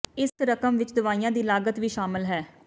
ਇਸ ਰਕਮ ਵਿਚ ਦਵਾਈਆਂ ਦੀ ਲਾਗਤ ਵੀ ਸ਼ਾਮਲ ਹੈ